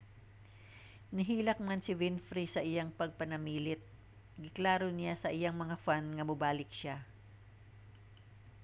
nihilak man si winfrey sa iyang pagpanamilit giklaro niya sa iyang mga fan nga mobalik siya